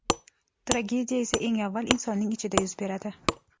Tragediya esa eng avval insonning ichida yuz beradi.